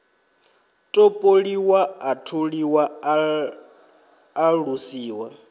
topoliwa a tholiwa a alusiwa